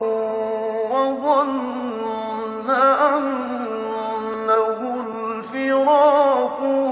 وَظَنَّ أَنَّهُ الْفِرَاقُ